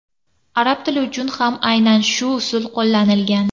Arab tili uchun ham aynan shu usul qo‘llanilgan.